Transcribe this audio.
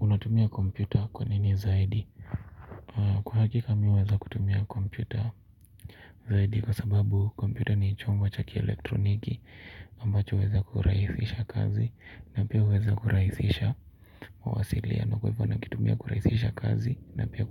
Unatumia kompyuta kwa nini zaidi? Kwa hakika mi huweza kutumia kompyuta zaidi kwa sababu kompyuta ni chombo cha kielektroniki ambacho huweza kurahisisha kazi na pia huweza kurahisisha mawasiliano. Kwa hivyo nakitumia kurahisisha kazi na pia